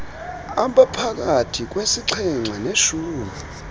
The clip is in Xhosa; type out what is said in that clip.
abaphakathi kwesixhenxe neshumi